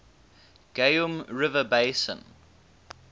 geum river basin